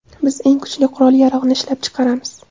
Biz eng kuchli qurol-yarog‘ni ishlab chiqaramiz.